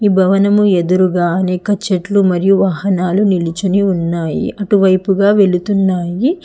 ఈ భవనం ఎదురుగా అనేక చెట్లు మరియు వాహనాలు నిల్చొని ఉన్నాయి అటువైపుగా వెల్తున్నాయి.